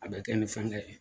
A bɛ kɛ ni fɛngɛ ye.